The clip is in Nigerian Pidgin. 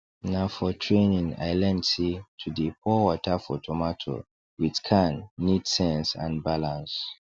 na for training i learn say to dey pour water for tomato with can need sense and balance